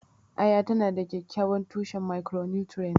Aya tana da kyakkyawan tushen micronutrients.